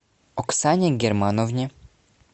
оксане германовне